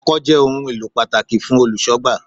Ọkọ́ jẹ́ ohun èlò pàtàkì fún Olùṣọ́gbà.